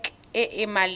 ke pac e e maleba